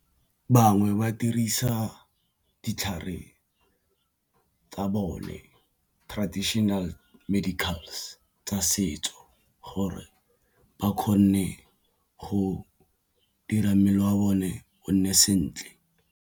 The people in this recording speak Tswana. Bangwe ba dirisa ditlhare tsa bone traditional medicals tsa setso gore ba kgone go dira mmele wa bone o nne sentle.